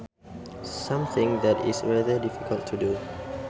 Something that is rather difficult to do